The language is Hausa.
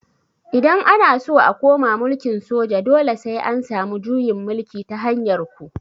Idan ana so a koma mulkin soja dole sai an samu juyin mulki ta hanyar ku